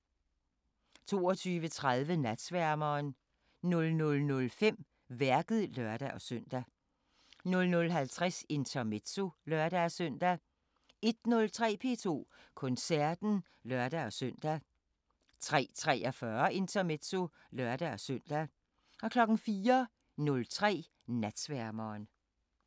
22:30: Natsværmeren 00:05: Værket (lør-søn) 00:50: Intermezzo (lør-søn) 01:03: P2 Koncerten (lør-søn) 03:43: Intermezzo (lør-søn) 04:03: Natsværmeren